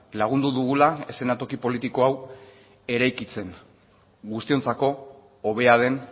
lagundu dugula eszenatoki politiko hau eraikitzen guztiontzako hobea den